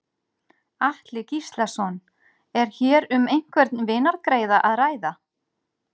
Atli Gíslason: Er hér um einhvern vinargreiða að ræða?